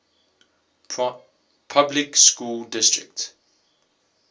public school district